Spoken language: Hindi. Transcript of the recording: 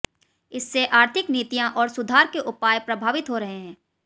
इससे आर्थिक नीतियां और सुधार के उपाय प्रभावित हो रहे हैं